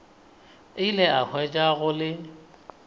ile a hwetša go le